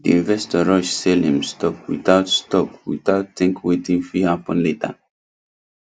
the investor rush sell him stock without stock without think wetin fit happen later